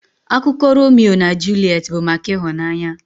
Akụkọ Romio na Juliet bụ maka ịhụnanya.